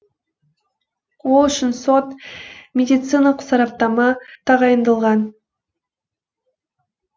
ол үшін сот медициналық сараптама тағайындалған